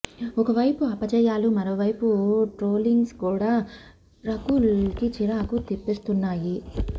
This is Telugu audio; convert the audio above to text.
ఒక వైపు అపజయాలు మరోవైపు ట్రోలింగ్స్ కూడా రకుల్ కి చిరాకు తెప్పిస్తున్నాయి